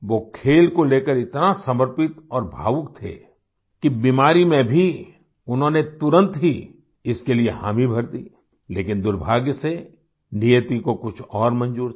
वो खेल को लेकर इतना समर्पित और भावुक थे कि बीमारी में भी उन्होंने तुरंत ही इसके लिए हामी भर दी लेकिन दुर्भाग्य से नियति को कुछ और मंजूर था